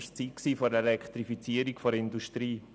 Es war die Zeit der Elektrifizierung der Industrie.